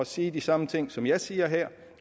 sige de samme ting som jeg siger her